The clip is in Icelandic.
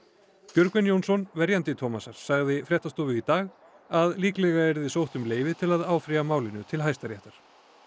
Björgvin Jónsson verjandi Thomasar sagði fréttastofu í dag að líklega yrði sótt um leyfi til að áfrýja málinu til Hæstaréttar